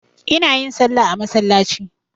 Ina yin salla a masallaci.